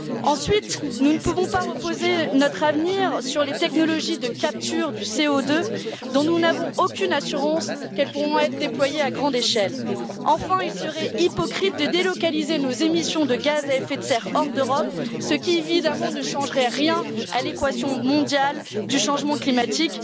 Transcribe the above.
Ensuite, nous ne pouvons pas faire reposer notre avenir sur les technologies de capture du CO2 dont nous n'avons aucune assurance qu'elles pourront être déployées à grande échelle. Enfin, il serait hypocrite de délocaliser nos émissions de gaz à effet de serre hors d'Europe, ce qui, évidemment, ne changerait rien à l'équation mondiale du changement climatique.